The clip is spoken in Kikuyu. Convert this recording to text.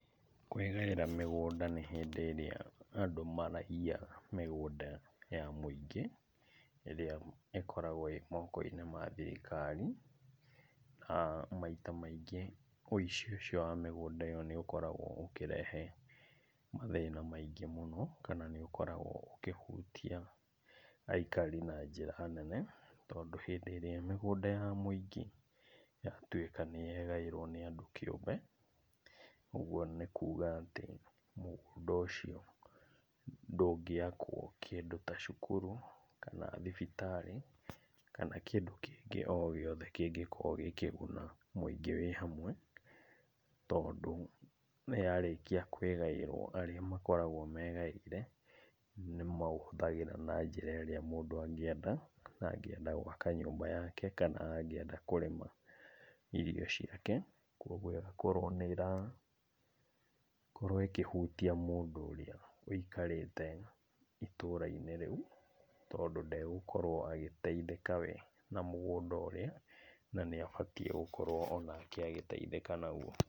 Kwĩgaĩra mĩgũnda nĩ hĩndĩ ĩrĩa andũ maraiya mĩgũnda ya mũingĩ, ĩrĩa ĩkoragwo ĩ moko-inĩ ma thirikari. Maita maingĩ wĩici ũcio wa mĩgũnda ĩyo nĩũkoragwo ũkĩrehe mathĩna maingĩ mũno kana nĩũkoragwo ũkĩhutia aikari na njĩra nene, tondũ hĩndĩ ĩrĩa mĩgũnda ya mũingĩ yatuĩka nĩyegaĩro nĩ andũ kĩũmbe, ũguo nĩ kuga atĩ mũgũnda ũcio ndũngĩakwo kĩndũ ta cukuru kana thibitarĩ kana kĩndũ kĩngĩ o gĩothe kĩngĩkorwo gĩkĩguna mũingĩ wĩ hamwe, tondũ nĩyarĩkia kwĩgaĩrwo arĩa makoragwo megaĩire nĩmaũhũthagĩra na njĩra ĩrĩa mũndũ angĩenda, na angĩenda gwaka nyũmba yake kana angĩenda kũrĩma irio ciake, kuoguo ĩgakorwo nĩrkorwo ĩkĩhutia mũndũ ũrĩa wĩikarĩte itũra-inĩ rĩu, tondũ ndegũkorwo agĩteithĩka we na mũgũnda ũrĩa na nĩabatiĩ gũkorwo onake agĩetithĩka naguo.